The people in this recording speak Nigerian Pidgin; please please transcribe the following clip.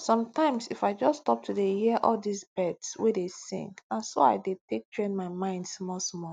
sometimes if i just stop to dey hear all this birds wey dey sing na so i dey take train my mind small small